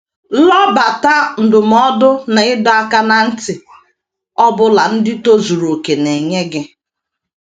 Lobata ndụmọdụ na ịdọ aka ná ntị ọ bụla ndị tozuru okè na - enye gị.